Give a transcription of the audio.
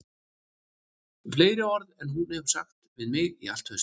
Fleiri orð en hún hefur sagt við mig í allt haust